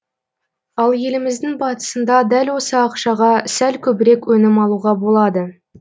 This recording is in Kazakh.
ал еліміздің батысында дәл осы ақшаға сәл көбірек өнім алуға болады